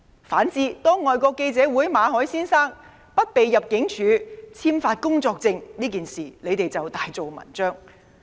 反之，對外國記者會馬凱先生不獲入境處簽發工作簽證這件事，反對派卻大做文章。